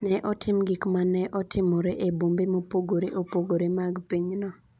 Ne otim gik ma ne otimore e bombe mopogore opogore mag pinyno.